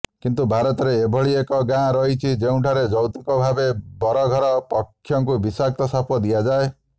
କିନ୍ତୁ ଭାରତରେ ଏଭଳି ଏକ ଗାଁ ରହିଛି ଯେଉଁଠାରେ ଯୌତୁକ ଭାବେ ବରଘର ପକ୍ଷଙ୍କୁ ବିଷାକ୍ତ ସାପ ଦିଆଯାଏ